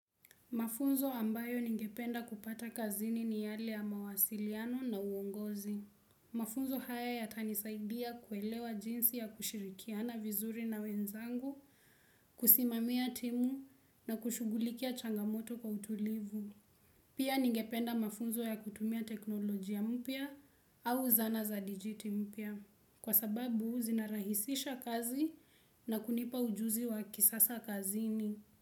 Mafunzo ambayo ningependa kupata kazini ni yale ya mawasiliano na uongozi. Mafunzo haya yatanisaidia kuelewa jinsi ya kushirikiana vizuri na wenzangu, kusimamia timu na kushughulikia changamoto kwa utulivu. Pia ningependa mafunzo ya kutumia teknolojia mpya au zana za digiti mpya kwa sababu zinarahisisha kazi na kunipa ujuzi wa kisasa kazini.